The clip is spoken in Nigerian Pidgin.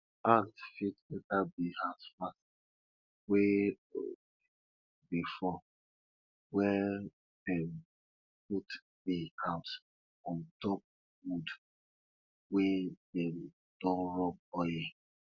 ant fit enta bee house fast wey rain dey fall welldem put bee house on top wood wey dem don rub oil